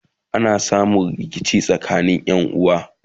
ana samun rikici tsakanin Ƴan uwa